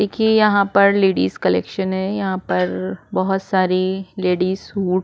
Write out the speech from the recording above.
देखिये यहाँ पर लेडीज कलेक्शन है यहाँ पर बहुत सारी लेडीज सूट --